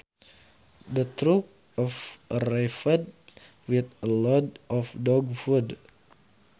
The truck arrived with a load of dog food